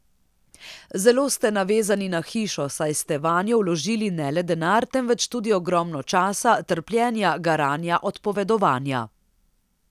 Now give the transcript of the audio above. Zelo ste navezani na hišo, saj ste vanjo vložili ne le denar, temveč tudi ogromno časa, trpljenja, garanja, odpovedovanja.